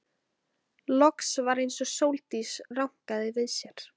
Loks var eins og Sóldís rankaði við sér.